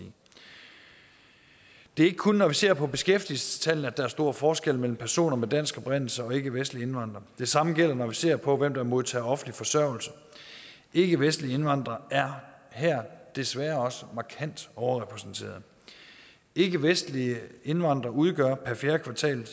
det er ikke kun når vi ser på beskæftigelsestallene at der er stor forskel mellem personer med dansk oprindelse og ikkevestlige indvandrere det samme gælder når vi ser på hvem der modtager offentlig forsørgelse ikkevestlige indvandrere er her desværre også markant overrepræsenteret ikkevestlige indvandrere udgør per fjerde kvartal